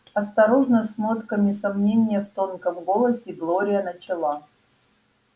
осторожно с нотками сомнения в тонком голосе глория начала